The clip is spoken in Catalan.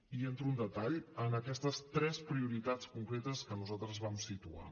i entro en detall en aquestes tres prioritats concretes que nosaltres vam situar